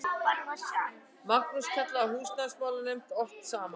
Magnús kallaði húsnæðismálanefndina oft saman.